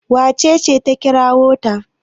wacece ta kirawo ta?